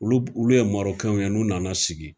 Olu olu ye ye n'u nana sigi